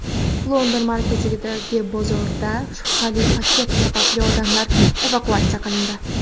London markazidagi bozorda shubhali paket sababli odamlar evakuatsiya qilindi.